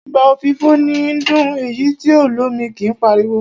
Àgbá òfìfo níí dún, èyí tí o lómi kí páriwo.